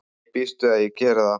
Ég býst við að ég geri það.